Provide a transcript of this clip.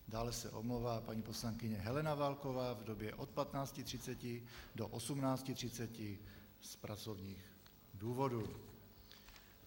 Dále se omlouvá paní poslankyně Helena Válková v době od 15.30 do 18.30 z pracovních důvodů.